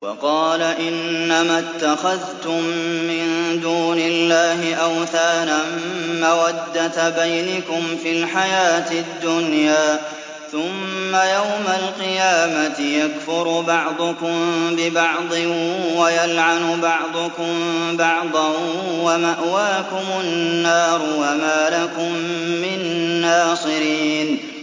وَقَالَ إِنَّمَا اتَّخَذْتُم مِّن دُونِ اللَّهِ أَوْثَانًا مَّوَدَّةَ بَيْنِكُمْ فِي الْحَيَاةِ الدُّنْيَا ۖ ثُمَّ يَوْمَ الْقِيَامَةِ يَكْفُرُ بَعْضُكُم بِبَعْضٍ وَيَلْعَنُ بَعْضُكُم بَعْضًا وَمَأْوَاكُمُ النَّارُ وَمَا لَكُم مِّن نَّاصِرِينَ